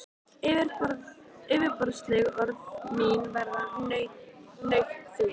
Yfirborðsleg orð mín verða nautn þín.